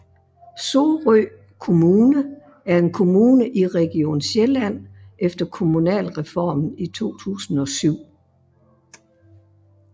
Sorø Kommune er en kommune i Region Sjælland efter Kommunalreformen i 2007